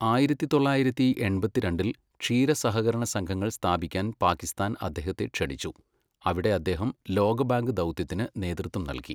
ആയിരത്തി തൊള്ളായിരത്തി എൺപത്തിരണ്ടിൽ , ക്ഷീര സഹകരണ സംഘങ്ങൾ സ്ഥാപിക്കാൻ പാകിസ്ഥാൻ അദ്ദേഹത്തെ ക്ഷണിച്ചു, അവിടെ അദ്ദേഹം ലോകബാങ്ക് ദൗത്യത്തിന് നേതൃത്വം നൽകി.